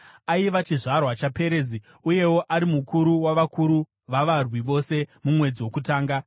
Aiva chizvarwa chaPerezi uyewo ari mukuru wavakuru vavavarwi vose mumwedzi wokutanga.